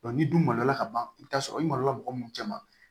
ni dun malo la ka ban i bi taa sɔrɔ i malola mɔgɔ minnu caman